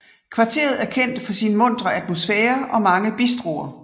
Kvarteret er kendt for sin muntre atmosfære og mange bistroer